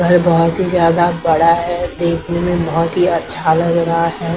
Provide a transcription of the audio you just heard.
घर बहुत ही ज्यादा बड़ा है देखने में बहुत ही अच्छा लग रहा है।